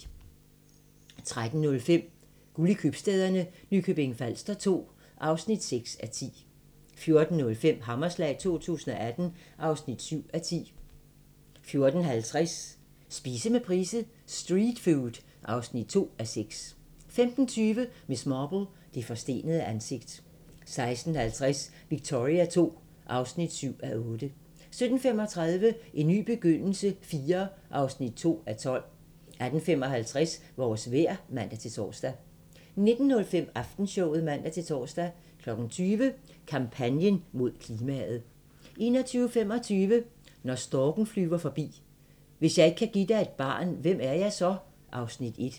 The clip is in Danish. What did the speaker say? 13:05: Guld i købstæderne - Nykøbing Falster II (6:10) 14:05: Hammerslag 2018 (7:10) 14:50: Spise med Price: "Street food" (2:6) 15:20: Miss Marple: Det forstenede ansigt 16:50: Victoria II (7:8) 17:35: En ny begyndelse IV (2:12) 18:55: Vores vejr (man-tor) 19:05: Aftenshowet (man-tor) 20:00: Kampagnen mod klimaet 21:25: Når storken flyver forbi – Hvis jeg ikke kan give dig et barn, hvem er jeg så? (Afs. 1)